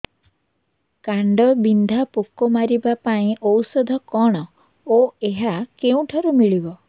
କାଣ୍ଡବିନ୍ଧା ପୋକ ମାରିବା ପାଇଁ ଔଷଧ କଣ ଓ ଏହା କେଉଁଠାରୁ ମିଳିବ